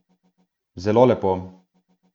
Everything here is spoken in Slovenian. Zelo lepo.